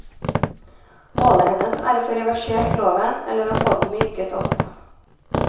Målet hennes er å få reversert loven eller å få den myket opp.